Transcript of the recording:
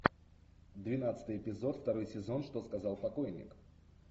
двенадцатый эпизод второй сезон что сказал покойник